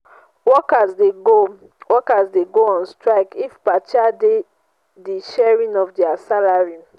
workers de go workers de go on strike if partia de di sharing of their salary